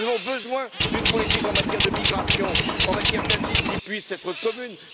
Nous avons besoin d'une politique en matière de migration, en matière d'asile, qui puisse être commune.